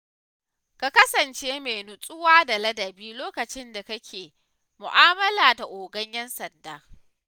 Kasance mai nutsuwa da ladabi lokacin da kake mu'amala da ogan 'yan sanda.